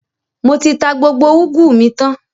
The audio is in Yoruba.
Mo ti tà gbogbo ugwu mi tan